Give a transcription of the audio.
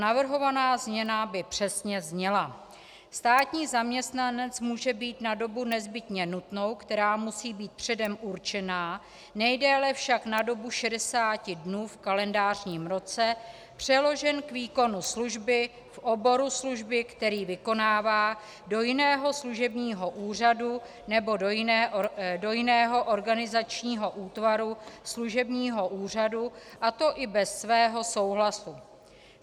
Navrhovaná změna by přesně zněla: "Státní zaměstnanec může být na dobu nezbytně nutnou, která musí být předem určena, nejdéle však na dobu 60 dnů v kalendářním roce, přeložen k výkonu služby v oboru služby, který vykonává, do jiného služebního úřadu nebo do jiného organizačního útvaru služebního úřadu, a to i bez svého souhlasu.